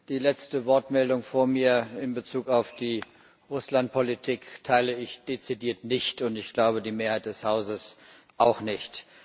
Die letzte Wortmeldung vor mir in Bezug auf die Russlandpolitik teile ich dezidiert nicht, und ich glaube, die Mehrheit des Hauses auch nicht.